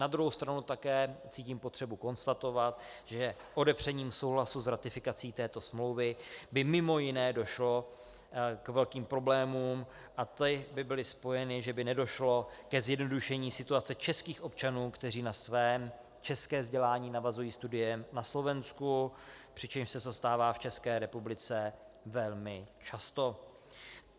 Na druhou stranu také cítím potřebu konstatovat, že odepřením souhlasu s ratifikací této smlouvy by mimo jiné došlo k velkým problémům a ty by byly spojeny, že by nedošlo ke zjednodušení situace českých občanů, kteří na své české vzdělání navazují studiem na Slovensku, přičemž se to stává v České republice velmi často.